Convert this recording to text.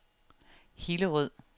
Hillerød